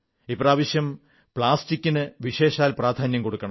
ഇപ്രാവശ്യം പ്ലാസ്റ്റിക്കിന് വിശേഷാൽ പ്രാധാന്യം കൊടുക്കണം